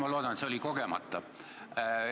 Ma loodan, et see oli kogemata.